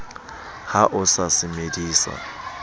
ha o sa se medisa